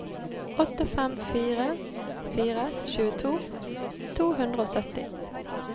åtte fem fire fire tjueto to hundre og sytti